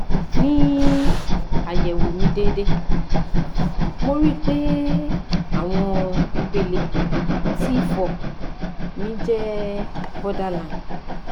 ni ayẹwo mi deede mo ri i pe awọn ipele t4 mi je borderline